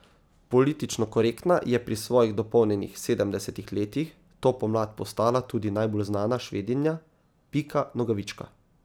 Politično korektna je pri svojih dopolnjenih sedemdesetih letih to pomlad postala tudi najbolj znana Švedinja Pika Nogavička.